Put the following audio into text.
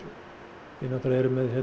við náttúrulega erum með